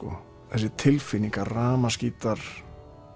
þessi tilfinning að rafmagnsgítar